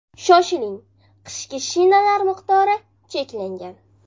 Shoshiling, qishki shinalar miqdori cheklangan!